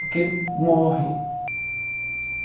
Porque morre.